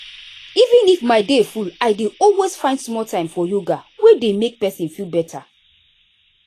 even if my day full i dey always find small time for yoga wey dey make person feel better.